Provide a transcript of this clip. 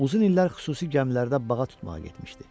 Uzun illər xüsusi gəmilərdə bağa tutmağa getmişdi.